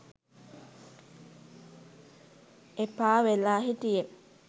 එපා වෙලා හිටියෙ.